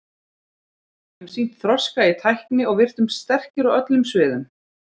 Við höfum sýnt þroska í tækni og virtumst sterkir á öllum sviðum.